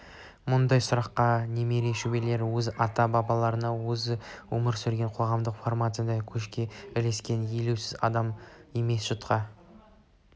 мұндай сұраққа немере-шөберелері өзінің ата-бабаларына өзі өмір сүрген қоғамдық формацияда көшке ілескен елеусіз адам емес жұртқа